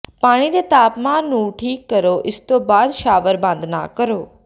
ਪਾਣੀ ਦੇ ਤਾਪਮਾਨ ਨੂੰ ਠੀਕ ਕਰੋ ਇਸ ਤੋਂ ਬਾਅਦ ਸ਼ਾਵਰ ਬੰਦ ਨਾ ਕਰੋ